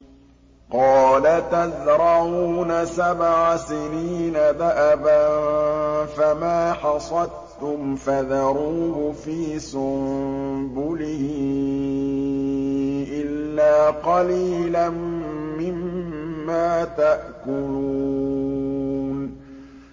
قَالَ تَزْرَعُونَ سَبْعَ سِنِينَ دَأَبًا فَمَا حَصَدتُّمْ فَذَرُوهُ فِي سُنبُلِهِ إِلَّا قَلِيلًا مِّمَّا تَأْكُلُونَ